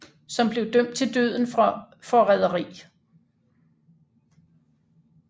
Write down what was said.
Som blev dømt til døden for foræderi